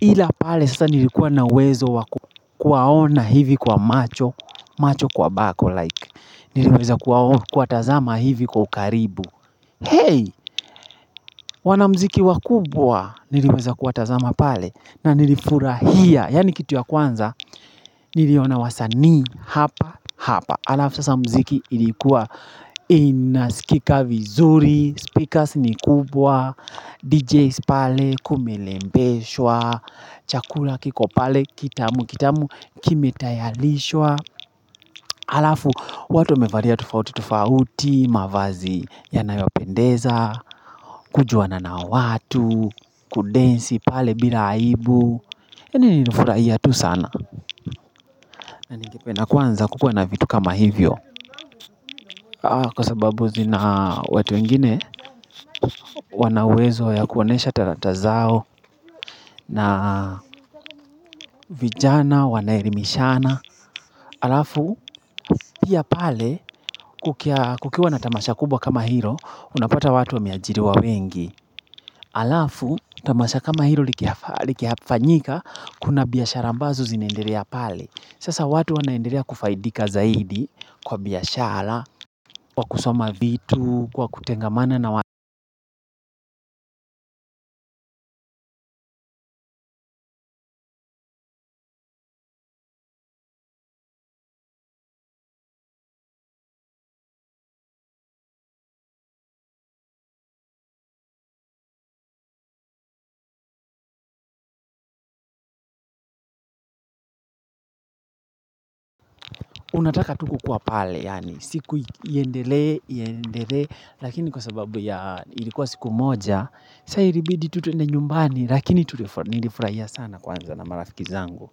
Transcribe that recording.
Ila pale sasa nilikuwa na uwezo wakuwaona hivi kwa macho, macho kwa bako like. Niliweza kuwaona kuwatazama hivi kwa ukaribu. Hey, wanamziki wakubwa niliweza kuwa tazama pale na nilifurahia. Yaani kitu ya kwanza, niliona wasanii hapa hapa. Alafu sasa mziki ilikuwa inasikika vizuri, speakers ni kubwa, DJs pale kumelembeshwa, chakula kiko pale kitamu kitamu kime tayarishwa. Alafu watu wamevalia tofauti tofauti, mavazi yanayopendeza, kujuana na watu, kudensi pale bila aibu. Yaani nilifurahia tu sana. Naningependa kwanza kukua na vitu kama hivyo kwa sababu zina watu wengine wanauwezo ya kuonesha tarata zao na vijana, wanaelimishana alafu, pia pale kukiwa na tamasha kubwa kama hilo unapata watu wameajiriwa wengi alafu, tamasha kama hilo likifanyika kuna biashara ambazo zinaendelea pale sasa watu wanaendelea kufaidika zaidi kwa biashara, kwa kusoma vitu, kwa kutengamana na unataka tu kukuwa pale, yaani siku iendelee, iendelee, lakini kwa sababu ya ilikuwa siku moja, sasa ilibidi tu twende nyumbani, lakini nilifurahia sana kwanza na marafiki zangu.